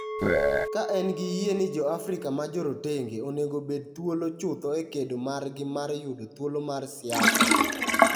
ka en gi yie ni jo Afrika ma jorotenge onego obed thuolo chuth e kedo margi mar yudo thuolo mar siasa.